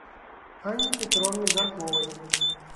анне петровне жарковой